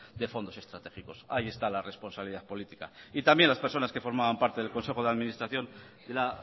de fondos estratégicos ahí está la responsabilidad política y también las personas que formaban parte del consejo de administración de la